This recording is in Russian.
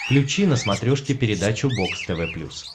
включи на смотрешке передачу бокс тв плюс